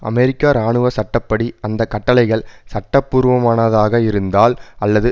அமெரிக்க இராணுவ சட்ட படி அந்த கட்டளைகள் சட்டபூர்வமானதாக இருந்தால் அல்லது